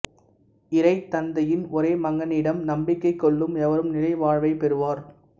இறைத் தந்தையின் ஒரே மகனிடம் நம்பிக்கை கொள்ளும் எவரும் நிலை வாழ்வைப் பெறுவர்